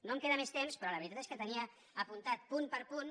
no em queda més temps però la veritat és que tenia apuntat punt per punt